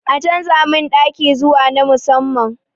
A canza min ɗaki zuwa na musamman